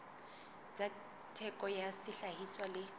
tsa theko ya sehlahiswa le